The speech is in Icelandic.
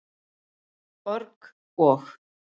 org- og.